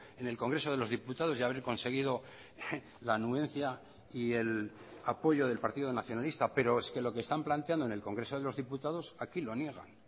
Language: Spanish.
en el congreso de los diputados y haber conseguido la anuencia y el apoyo del partido nacionalista pero es que lo que están planteando en el congreso de los diputados aquí lo niegan